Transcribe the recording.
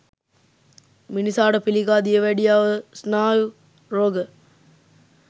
මිනිසාට පිළිකා, දියවැඩියාව ස්නායු රෝග